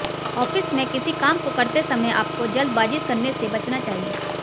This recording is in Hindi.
ऑफिस मेंकिसी काम को करते समय आपको जल्दबाजी करने से बचना चाहिए